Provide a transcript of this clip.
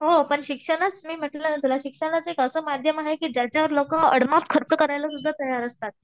हो पण शिक्षणास मी म्हंटल ना तुला शिक्षण एक असं माध्यम आहे की ज्याच्यावर लोकं आडमाप खर्च करायला सुद्धा तयार असतात.